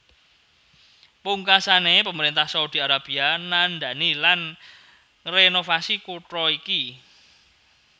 Pungkasané pemerintah Saudi Arabia ndandani lan ngrenovasi kutha iki